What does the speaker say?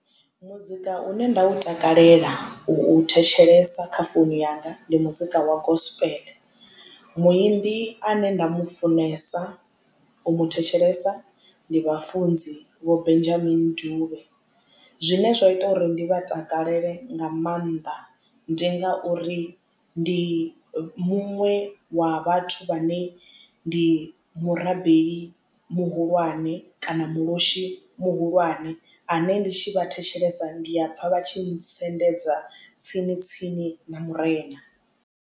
Muzika une nda u takalela u thetshelesa kha founu yanga ndi muzika wa gospel muimbi ane nda mufunesa u mu thetshelesa ndi vhafunzi vho Benjamin Dube zwine zwa ita uri ndi vha takalele nga maanḓa ndi ngauri ndi muṅwe wa vhathu vhane ndi murabeli muhulwane kana muloshi muhulwane ane ndi tshi vha thetshelesa ndi a pfha vha tshi nsendedza tsini tsini na murena.